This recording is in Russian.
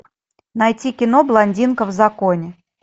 найти кино блондинка в законе